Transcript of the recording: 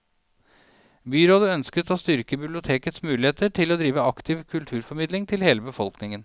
Byrådet ønsker å styrke bibliotekets muligheter til å drive aktiv kulturformidling til hele befolkningen.